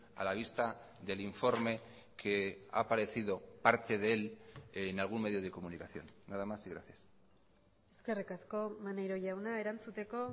a la vista del informe que ha aparecido parte de él en algún medio de comunicación nada más y gracias eskerrik asko maneiro jauna erantzuteko